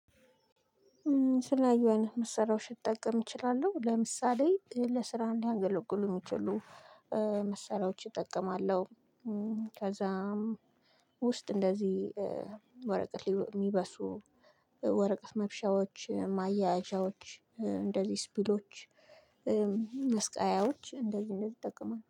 ስለዚህ አይነት መሰሪያዎች ልጠቀም እችላለሁ ለምሳሌ ለስራ እንዲያገለግሉ የሚችሉ መሳሪያዎች እጠቀማለሁ። ከዛም ውስጥ እንደዚህ ወረቀት የሚበሱ ወረቀት መብሻዎች ማያያዣዎች እንደዚህ ስፒሎች መስቀያዎች እንደዚህ እንደዚህ እጠቀማለሁ